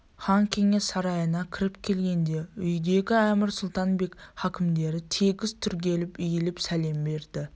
хан кеңес сарайына кіріп келгенде үйдегі әмір сұлтан бек хакімдер тегіс түрегеліп иіліп сәлем берді